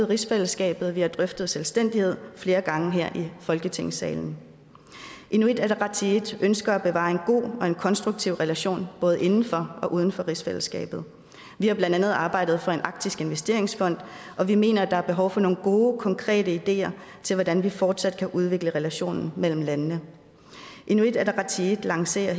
rigsfællesskabet og vi har drøftet selvstændighed flere gange her i folketingssalen inuit ataqatigiit ønsker at bevare en god og konstruktiv relation både inden for og uden for rigsfællesskabet vi har blandt andet arbejdet for en arktisk investeringsfond og vi mener der er behov for nogle gode konkrete ideer til hvordan vi fortsat kan udvikle relationen mellem landene inuit ataqatigiit lancerer